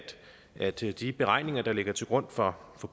at de de beregninger der ligger til grund for